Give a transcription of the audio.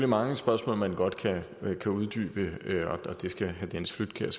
mange spørgsmål man godt kan uddybe og det skal herre dennis flydtkjær